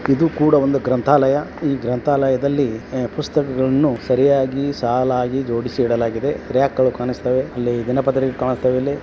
ಇದು ಕೂಡ ಒಂದು ಗ್ರಂಥಾಲಯ ಈ ಗ್ರಂಥಾಲಯದಲ್ಲಿ ಪುಸ್ತಕಗಳ್ನ್ನು ಸರಿಯಾಗಿ ಸಾಲಾಗಿ ಜೋಡಿಸಿಡಲಾಗಿದೆ ರ್ಯಾಕಗಳು ಕಾಣಿಸ್ತಾವೇ ಅಲ್ಲಿ ದಿನಪತ್ರಿಕೆ ಕಾಣುತೇವೆಯಲ್ಲಿ.